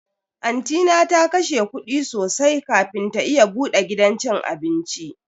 Anti na ta kashe kudi sosai kafin ta iya bude gidan cin abinci.